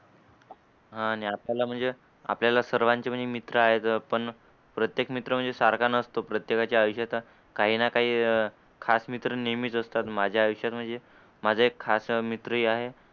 आणि आपल्या ला म्हणजे आपल्या ला सर्वांचे मित्र आहे. पण प्रत्येक मित्र म्हणजे सारखा नसतो. प्रत्येका च्या आयुष्यात काही ना काही खास मित्र नेहमीच असतात. माझ्या आयुष्यात म्हणजे माझे खास मित्र आहे